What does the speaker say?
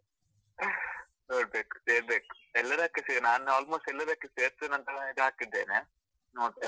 ನೋಡ್ಬೇಕು ಸೇರ್ಬೇಕು, ಎಲ್ಲದಕ್ಕೂ ನಾನ್ almost ಎಲ್ಲದಕ್ಕೂ ಸೇರ್ತೆನಂತ ಇದು ಹಾಕಿದ್ದೇನೆ ನೋಡ್ತೇನೆ.